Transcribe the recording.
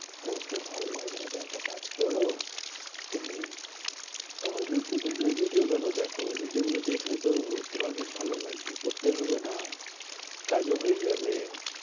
পড়তে ভালো লাগে না তা একটা কাজ করো। তুমি আহ ইউটিউব এ গিয়ে video গুলো দেখো video গুলো দেখলে তো তোমাকে ভালো লাগবে। পড়তে হবে না। কাজও হয়ে যাবে।